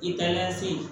I taara se